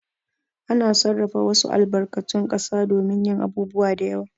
Ana sarrafa wasu albarkatun ƙasa domin yin abubuwa da yawa.